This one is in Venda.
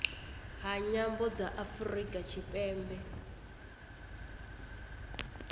ha nyambo dza afurika tshipembe